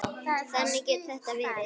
Þannig getur þetta verið.